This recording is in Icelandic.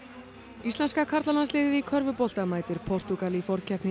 íslenska karlalandsliðið í körfubolta mætir Portúgal í forkeppni